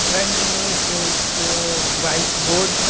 front में एक white board --